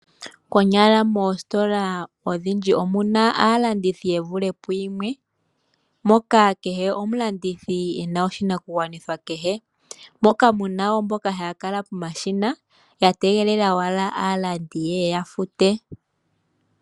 Konyala mositola odhindji omuna aalandithi yevululithe pugumwe moka kehe omulandithi ena oshinakugwanitha kehe, moka muna woo mboka haya kala pomashina yategela owala aalandi yeye ya fute.